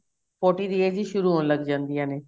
forty ਦੀ age ਵਿੱਚ ਹੀ ਸ਼ੁਰੂ ਹੋਣ ਲੱਗ ਜਾਂਦੀਆਂ ਨੇ